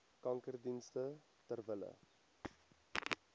kankerdienste ter wille